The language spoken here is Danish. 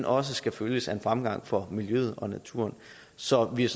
også skal følges af en fremgang for miljøet og naturen så vi er